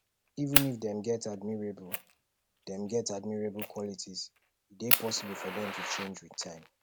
even if dem get admirable dem get admirable qualities e dey possible for dem to change with time